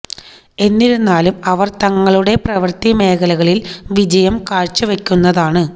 എന്നിരുന്നാലും അവർ തങ്ങളുടെ പ്രവർത്തി മേഖലകളിൽ വിജയം കാഴ്ച്ച വയ്ക്കുന്നതാണ്